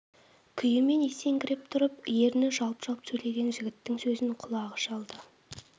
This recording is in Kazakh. күйімен есеңгіреп тұрып ерні жалп-жалп сөйлеген жігіттің сөзін құлағы шалды